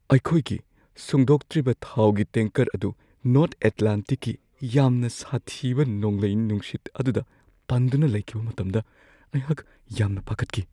ꯑꯩꯈꯣꯏꯒꯤ ꯁꯨꯡꯗꯣꯛꯇ꯭ꯔꯤꯕ ꯊꯥꯎꯒꯤ ꯇꯦꯡꯀꯔ ꯑꯗꯨ ꯅꯣꯔꯊ ꯑꯦꯠꯂꯥꯟꯇꯤꯛꯀꯤ ꯌꯥꯝꯅ ꯁꯥꯊꯤꯕ ꯅꯣꯡꯂꯩ-ꯅꯨꯡꯁꯤꯠ ꯑꯗꯨꯗ ꯄꯟꯗꯨꯅ ꯂꯩꯈꯤꯕ ꯃꯇꯝꯗ ꯑꯩꯍꯥꯛ ꯌꯥꯝꯅ ꯄꯥꯈꯠꯈꯤ ꯫